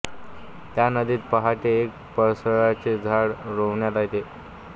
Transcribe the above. त्या नदीत पहाटे एक पळसाचे झाड रोवण्यात येते